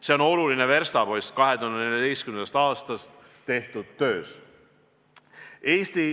See on oluline verstapost 2014. aastast tehtud töös.